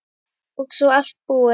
Og svo allt búið.